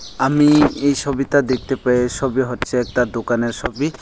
আমি এই সবিতা দেখতে পেয়ে সবি হচ্ছে একটা দোকানের সবি।